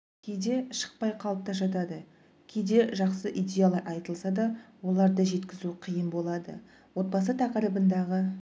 кейде шықпай қалып жатады кейде жақсы идеялар айтылса да оларды жеткізу қиын болады отбасы тақырыбындағы